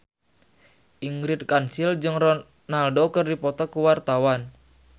Ingrid Kansil jeung Ronaldo keur dipoto ku wartawan